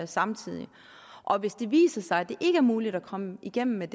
samtidig og hvis det viser sig at det ikke er muligt at komme igennem med